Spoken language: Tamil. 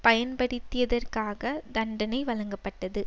பயன்படுத்தியதற்காக தண்டனை வழங்கப்பட்டது